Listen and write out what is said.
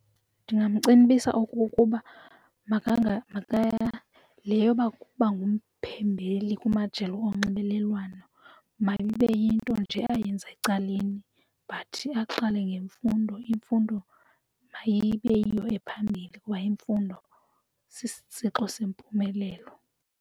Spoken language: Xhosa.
Ndingamcebisa okokuba le yoba kuba ngumphumbeli kumajelo onxibelelwano mayibe yinto nje ayenza ecaleni but aqale ngemfundo. Imfundo mayibe yiyo ephambili kuba imfundo sisitsixo sempumelelo.